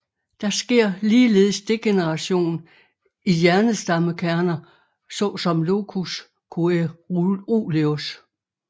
Der sker ligeledes degeneration i hjernestammekerner såsom locus coeruleus